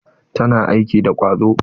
Tana aiki da ƙwazo.